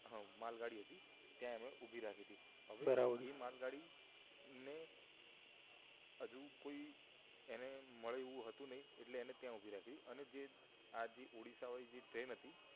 હમ માલગાડી હતી ત્યાં એમણે ઊભી રાખીથી બરાબર હવે એ માલગાડી ને હજુ કોઈ એને મળ્યું હતું નહિ એટલે એને ત્યાં ઉભી રાખી હતી અને જે આ ઓડીસ્સા વાળી ટ્રેન હતી